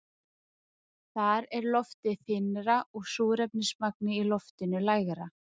Þar er loftið þynnra og súrefnismagnið í loftinu lægra.